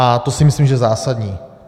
A to si myslím, že je zásadní.